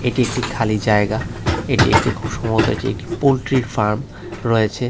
এটি একটি খালি জায়গা এটি একটি খুব সম্ভবত এটি একটি পোল্ট্রির ফার্ম রয়েছে।